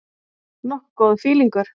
Nokkuð góður fílingur.